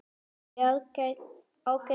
Ertu í ágætis formi?